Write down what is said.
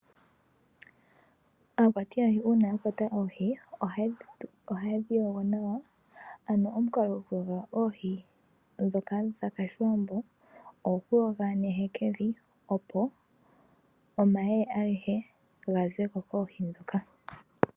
Aakwati yoohi uuna yakwata oohi ohaye dhiyogo nawa ano omukalo gokuyuoga oohi dhoka dhakalithwa momeya ogokuyoga nehekevi opo omayeye agehe gazeko koohi dhoka.